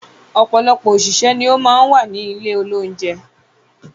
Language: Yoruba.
Ọpọlọpọ òṣìṣẹ́ ní o máa ń wà ní ilé olounjẹ